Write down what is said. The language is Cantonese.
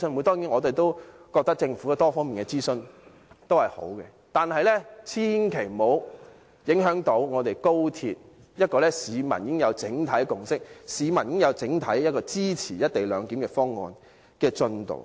當然，我們覺得政府有多方面的諮詢也是好的，但千萬不要影響推行市民已經有整體共識，市民已經整體支持的高鐵"一地兩檢"方案的進度。